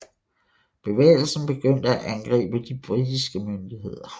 Bevægelsen begyndte at angribe de britiske myndigheder